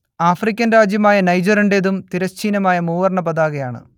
African രാജ്യമായ നൈജറിന്റേതും തിരശ്ചീനമായ മൂവർണ്ണ പതാകയാണ്